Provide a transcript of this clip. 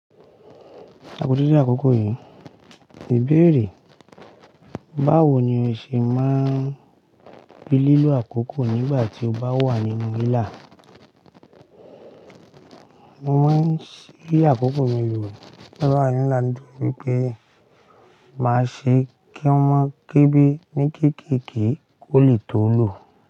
Àkókò yìí, níbèrè, báwo ni ó ṣe máa ń fi lílò àkókò nígbà tí ó bá wà nínú ilà? Mo máa ń sí àkókò mi lò nígbà tí mo bá wà nínú ilà nídí í pé, màá ṣe kí wọ́n má gébi ní kékékè kó lè tó lò.